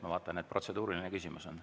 Ma vaatan, et protseduuriline küsimus on.